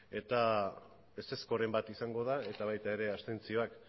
eta ezezkoren bat izango da eta baita ere abstentzioak